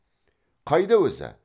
қайда өзі